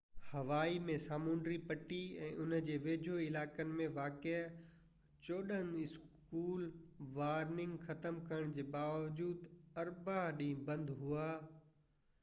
هوائي ۾ سامونڊي پٽي يا ان جي ويجهو علائقن ۾ واقع چوڏهن اسڪول وارننگ ختم ڪرڻ جي باوجود اربع ڏينهن بند هئا